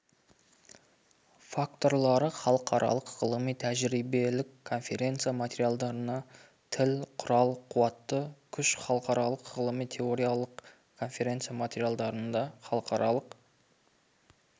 факторлары халықаралық ғылыми-тәжірибелік конференция материалдарына тіл құрал қуатты күш халықаралық ғылыми-теориялық конфереция материалдарында халықаралық